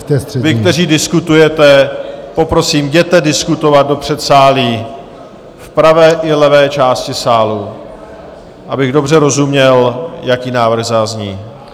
Vy, kteří diskutujete, poprosím, jděte diskutovat do předsálí, v pravé i levé části sálu, abych dobře rozuměl, jaký návrh zazní.